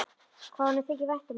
Hvað honum þykir vænt um hana!